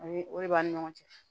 O ye o de b'an ni ɲɔgɔn cɛ